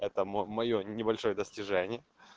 это моё небольшое достижение